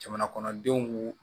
Jamana kɔnɔdenw